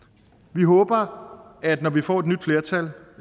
vi håber at når vi får et nyt flertal